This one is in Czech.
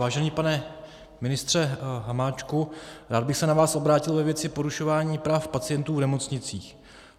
Vážený pane ministře Hamáčku, rád bych se na vás obrátil ve věci porušování práv pacientů v nemocnicích.